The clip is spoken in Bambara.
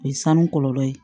O ye sanu kɔlɔlɔ ye